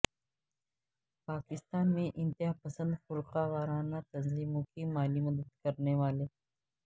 پاکستان میں انتہا پسند فرقہ وارانہ تنظیموں کی مالی مدد کرنے والے